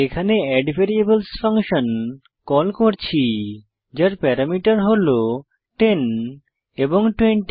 এখানে add variables function call করছি যার প্যারামিটার হল 10 এবং 20